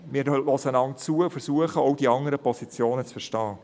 Wir hören einander zu und versuchen, auch die anderen Positionen zu verstehen.